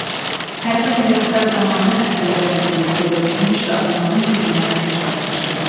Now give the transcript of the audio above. Hərbi əməliyyatlar zamanı əsgərlərlə birlikdə döyüşmüş və onların gücünə güc qatmışdı.